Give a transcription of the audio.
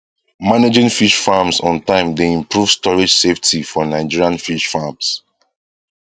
managing fish farms on time dey improve storage safety for nigerian fish farms